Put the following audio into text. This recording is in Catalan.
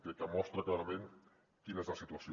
crec que mostra clarament quina és la situació